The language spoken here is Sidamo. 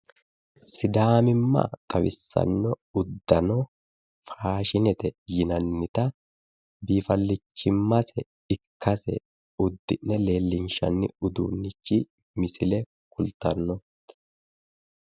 sidaamimma xawissanno uddano faashinete yinannita biifalichimmase ikkase uddi'ne leelllinshanni misile ikkase kultanno